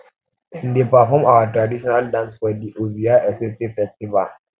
um dem dey perform our traditional dance for di ovia osese festival